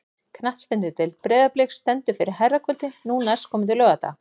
Knattspyrnudeild Breiðabliks stendur fyrir herrakvöldi nú næstkomandi laugardag.